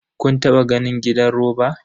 Kun taba ganin gidan roba?